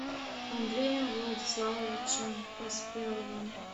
андреем владиславовичем поспеловым